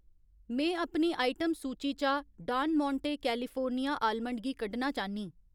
में अपनी आइटम सूची चा डान मोंटें कैलिफोर्निया आलमंड गी कड्ढना चाह्न्नीं।